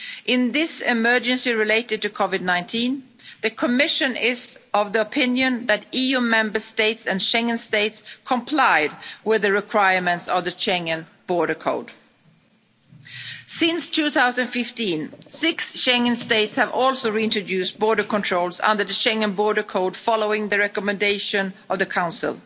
controls. In this emergency related to COVID-19, the Commission is of the opinion that EU Member States and Schengen states complied with the requirements of the Schengen Borders Code. Since 2015, six Schengen states have also reintroduced border controls under the Schengen Borders Code, following the recommendation of